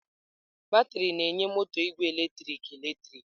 Batrị na-enye moto igwe eletrik eletrik.